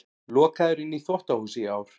Lokaður inni í þvottahúsi í ár